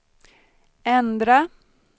ändra